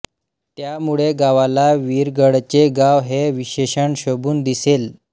त्यामुळे गावाला वीरगळचे गाव हे विशेषण शोभून दिसेल